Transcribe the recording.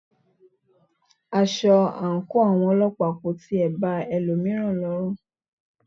Aṣọ àńkò àwọn ọlọ́pàá kò tilẹ̀ ba ẹlòmíràn lọrù.